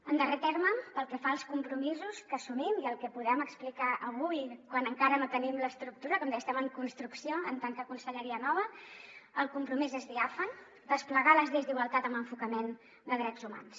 en darrer terme pel que fa als compromisos que assumim i el que podem explicar avui quan encara no tenim l’estructura com deia estem en construcció en tant que conselleria nova el compromís és diàfan desplegar les lleis d’igualtat amb enfocament de drets humans